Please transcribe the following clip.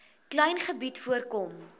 klein gebied voorkom